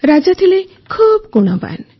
ରାଜା ଥିଲେ ଖୁବ୍ ଗୁଣବାନ